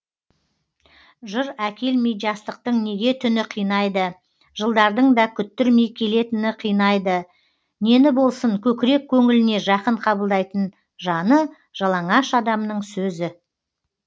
жыр әкелмей жастықтың неге түні қинайды жылдардың да күттірмей келетіні қинайды нені болсын көкірек көңіліне жақын қабылдайтын жаны жалаңаш адамның сөзі